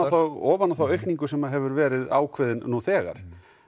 og ofan á þá aukningu sem hefur verið ákveðin nú þegar